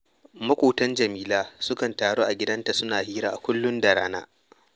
Maƙotan Jamila sukan taru a gidanta suna hira a kullum da rana